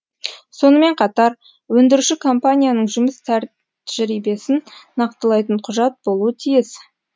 сонымен қатар өндіруші компанияның жұмыс тәжірибесін нақтылайтын құжат болуы тиіс